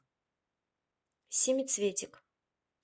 семицветик